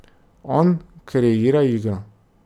On kreira igro.